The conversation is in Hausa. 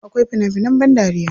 Akwai fina finan ban dariya.